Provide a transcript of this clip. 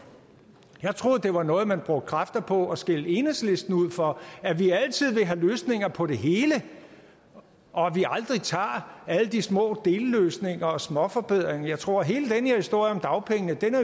jeg troede det var noget man brugte kræfter på at skælde enhedslisten ud for at vi altid vil have løsninger på det hele og at vi aldrig tager alle de små delløsninger og småforbedringer med jeg tror at hele den her historie om dagpengene